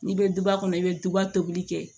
N'i bɛ duba kɔnɔ i bɛ duba tobili kɛ